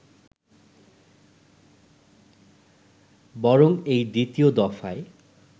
বরং এই দ্বিতীয় দফায়